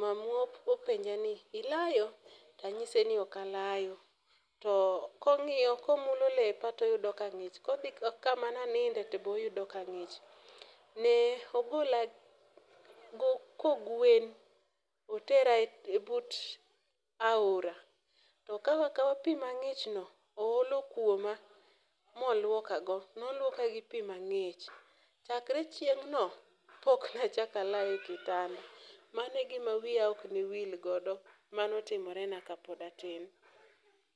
mamua openja ni "ilayo?", tanyise ni ok alayo, to komulo lepa toyudo ka ng'ich kodhi kama naninde toyudo ka ng'ich. Ne ogola kogwen otera e but aora to okawa akawa pi mang'ichno oolo kuoma molwokago. Nolwoka gi pi mang'ich, chakre chieng'no poknachako alayo e kitanda. Mano e gima wiya ok ne wilgodo manotimorena kapod atin.